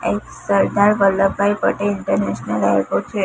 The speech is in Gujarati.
એક સરદાર વલ્લભભાઈ પટેલ ઈન્ટરનેશનલ એરપોર્ટ છે.